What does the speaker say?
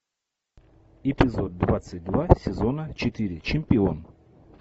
эпизод двадцать два сезона четыре чемпион